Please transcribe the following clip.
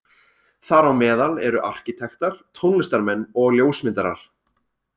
Þar á meðal eru arkítektar, tónlistarmenn og ljósmyndarar.